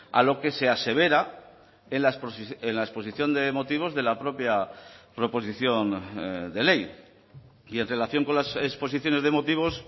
a lo que se asevera en la exposición de motivos de la propia proposición de ley y en relación con las exposiciones de motivos